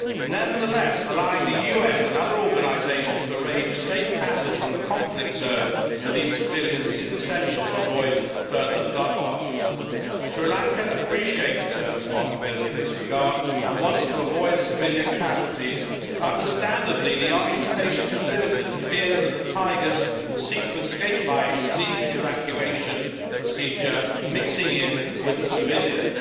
Nevertheless, allowing the UN and other organisations to arrange safe passage from the conflict zone for these civilians is essential to avoid further bloodbaths. Sri Lanka appreciates its own responsibility in this regard and wants to avoid civilian casualties but, understandably, the army's patience is limited and fears that the Tigers will seek to escape by a sea evacuation procedure, mixing in with the civilians.